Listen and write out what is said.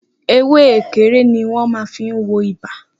Ewé ekere ni wọn máa fí n wo ibà